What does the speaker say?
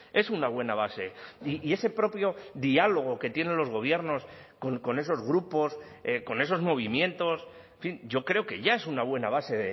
es una buena base y ese propio diálogo que tienen los gobiernos con esos grupos con esos movimientos en fin yo creo que ya es una buena base